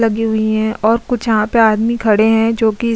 लगी हुई हैं और कुछ यहाँ पे आदमी खड़े हैं जोकि --